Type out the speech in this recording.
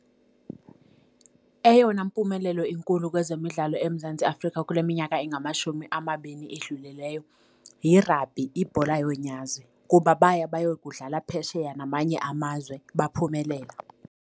Eyona mpumelelo inkulu kwezemidlalo eMzantsi Afrika kule minyaka engamashumi amabini edlulileyo yirabhi, ibhola yonyazi kuba baya bayokudlala phesheya namanye amazwe baphumelela.